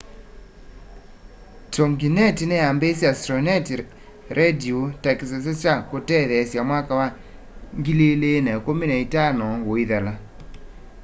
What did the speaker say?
toginet ni yambiisye astronet radio ta kisese kya kutetheesya mwaka wa 2015 uithela